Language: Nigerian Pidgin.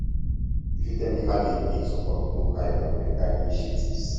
you fit tell me how you dey take support local enviornmental initiatives